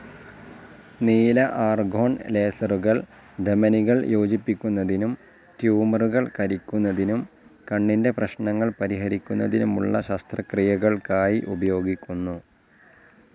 നീല ആർഗോൺ ലേസറുകൾ ധമനികൾ യോജിപ്പിക്കുന്നതിനും ട്യൂമറുകൾ കരിക്കുന്നതിനും, കണ്ണിന്റെ പ്രശ്നങ്ങൾ പരിഹരിക്കുന്നതിനുമുള്ള ശസ്ത്രക്രിയകൾക്കായി ഉപയോഗിക്കുന്നു.